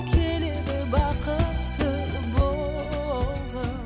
келеді бақытты болғым